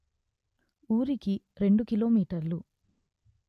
ఊరికి రెండు కిలోమీటర్లు